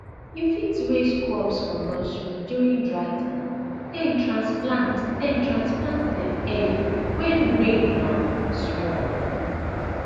you fit raise crops for nursery during dry time then transplant then transplant dem early when rain um small